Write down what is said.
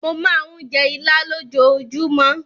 Mo máa ń jẹ Ìlá lójoojúmọ́.